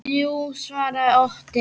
Jú, svaraði Otti.